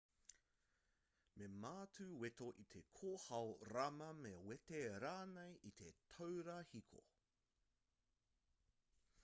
me mātu weto i te kōhao rama me wete rānei i te taura hiko